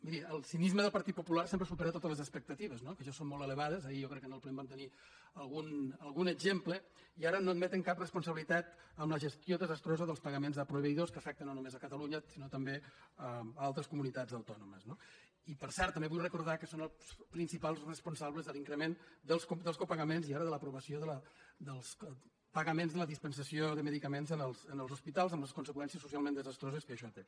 miri el cinisme del partit popular sempre ha superat totes les expectatives no que ja són molt elevades ahir jo crec que en el ple en vam tenir algun exemple i ara no admeten cap responsabilitat en la gestió desastrosa dels pagaments a proveïdors que afecta no només catalunya sinó també altres comunitats autònomes no i per cert també vull recordar que són els principals responsables de l’increment dels copagaments i ara de l’aprovació dels pagaments de la dispensació de medicaments en els hospitals amb les conseqüències socialment desastroses que això té